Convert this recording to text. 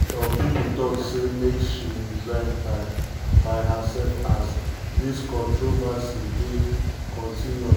some pipo tok say make she resign by by herself as dis controversy dey kontinu.